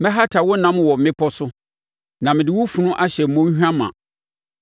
Mɛhata wo nam wɔ mmepɔ no so na mede wo funu ahyɛ mmɔnhwa ma.